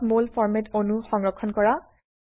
mol ফৰম্যাটে অণু সংৰক্ষণ কৰা